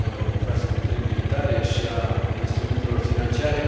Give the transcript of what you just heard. infrastructurii militare și a instrumentelor financiare.